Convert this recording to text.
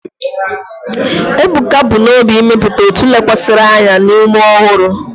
Ebuka bu n'obi ịmepụta otu lekwasịrị anya na ume ọhụrụ.